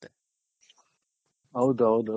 ಹೌದು ಹೌದು